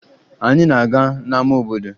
Anyị na-aga n'ama obodo